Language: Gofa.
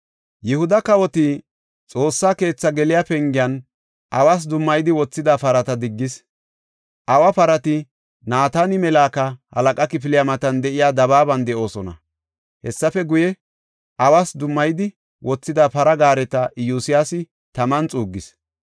Yihuda kawoti Xoossa keethaa geliya pengiyan awas dummayidi wothida parata diggis. Awa parati Naatan-Meleka halaqaa kifiliya matan de7iya dabaaban de7oosona. Hessafe guye, awas dummayidi wothida para gaareta Iyosyaasi taman xuuggis.